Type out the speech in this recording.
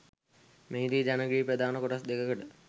මෙහිදී ජන ගී ප්‍රධාන කොටස් දෙකකට